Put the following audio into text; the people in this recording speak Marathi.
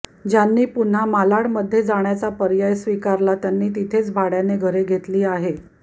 ज्यांनी पुन्हा मालाड मध्ये जाण्याचा पर्याय स्वीकारला त्यांनी तिथेच भाड्याने घरे घेतली आहे